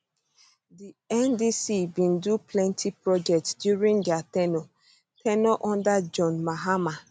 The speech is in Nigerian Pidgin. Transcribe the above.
di ndc bin do plenti projects during dia ten ure ten ure under john mahama